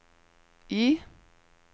I